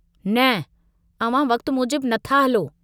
न अव्हां वक्त मूजिब नथा हलो।